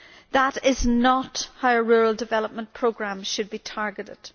That is not how rural development programmes should be targeted.